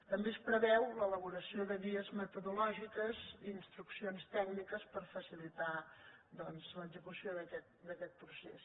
també es preveu l’elaboració de guies metodològiques i instruccions tècniques per facilitar doncs l’execució d’aquest procés